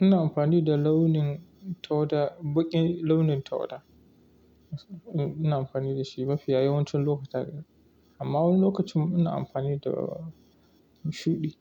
Ina amfani da launin tawada, baƙin launin tawada. Ina amfani da shi mafiya yawancin lokuta. Amma wani lokacin ina amfani da shuɗi.